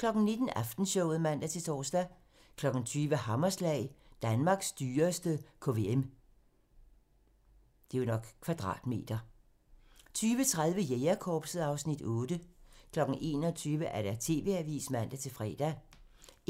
19:00: Aftenshowet (man-tor) 20:00: Hammerslag - Danmarks dyreste kvm 20:30: Jægerkorpset (Afs. 8) 21:00: TV-avisen (man-fre)